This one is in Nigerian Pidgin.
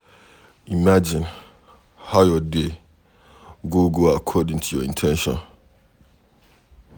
Imagine how your day go go according to your in ten tion